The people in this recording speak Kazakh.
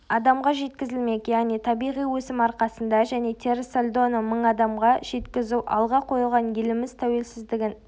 адамға жеткізілмек яғни табиғи өсім арқасында және теріс сальдоны мың адамға жеткізу алға қойылған еліміз тәуелсіздігін